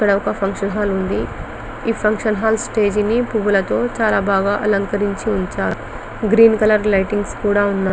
ఇక్కడ ఒక function hall ఉంది ఈ ఫంక్షన్ హాల్ స్టేజి ని పూలతో చాల చక్కగా అలంకరించారు గ్రీన్ కలర్ లైటింగ్స్ కూడా ఉన్నాయి